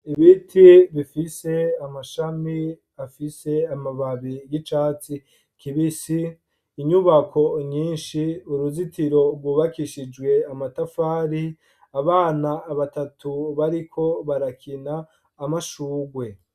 Ibiti bifise amashami afise amababi y'icatsi kibisi, inyubako nyinshi, uruzitiro rwubakishijwe amatafari, abana batatu bariko barakina, amashurwe.